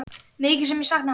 Mikið sem ég sakna hans.